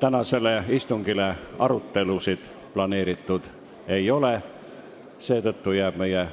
Tänaseks istungiks arutelusid planeeritud ei ole, mistõttu jääb meie